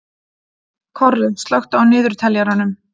Korri, slökktu á niðurteljaranum.